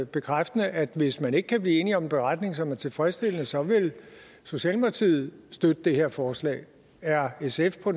bekræftende at hvis man ikke kan blive enige om en beretning som er tilfredsstillende så vil socialdemokratiet støtte det her forslag er sf på